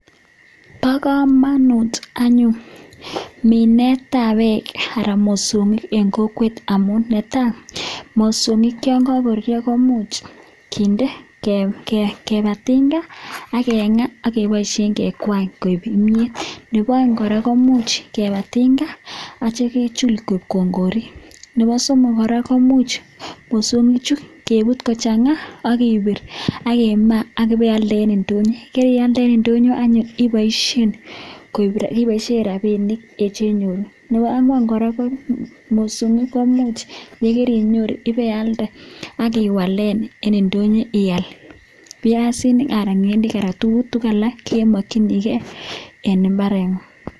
Pakamuunuut anyuun mineet ap peeeek ara mosongik eng kokweet amun netaii ngengaaa kepaisheen koeeek peeek chekichopeen rongorrriiik anan keiip kopa ndonyoo pakealnda inyoruu rapisheek anan iwaleen tugun cheuu piasiinik